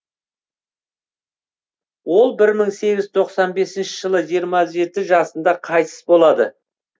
ол бір мың сегіз жүз тоқсан бесінші жылы жиырма жеті жасында қайтыс болады